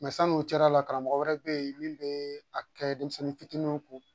san n'o cɛla la karamɔgɔ wɛrɛ bɛ yen min bɛ a kɛ denmisɛnnin fitininw ko